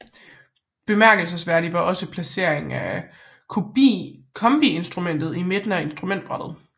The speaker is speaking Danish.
Bemærkelsesværdigt var også placeringen af kombiinstrumentet i midten af instrumentbrættet